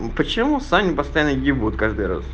ну почему саню постоянно ебут каждый раз